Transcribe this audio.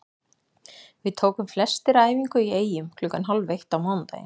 Við tókum flestir æfingu í Eyjum klukkan hálf eitt á mánudaginn.